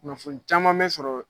Kunnafoni caman be sɔrɔ